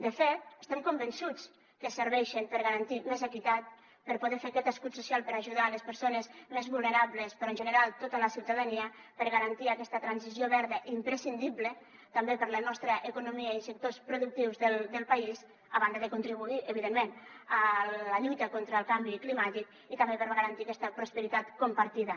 de fet estem convençuts que serveixen per a garantir més equitat per a poder fer aquest escut social per a ajudar les persones més vulnerables però en general tota la ciutadania per a garantir aquesta transició verda i imprescindible també per a la nostra economia i sectors productius del país a banda de contribuir evidentment a la lluita contra el canvi climàtic i també per a garantir aquesta prosperitat compartida